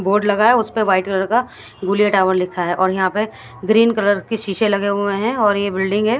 Board लगा है उसपे वाइट कलर का गोलीयां टावर लिखा है और यहां पे ग्रीन कलर के शीशे लगे हुए हैं और ये बिल्डिंग है।